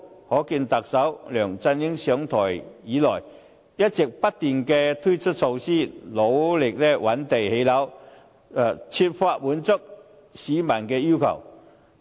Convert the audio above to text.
可見特首梁振英上台以來，一直不斷推出措施，努力覓地建屋，設法滿足市民的需求。